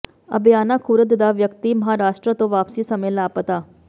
ਅਬਿਆਣਾ ਖੁਰਦ ਦਾ ਵਿਅਕਤੀ ਮਹਾਰਾਸ਼ਟਰ ਤੋਂ ਵਾਪਸੀ ਸਮੇਂ ਲਾਪਤਾ